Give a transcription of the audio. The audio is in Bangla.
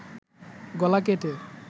গলা কেটে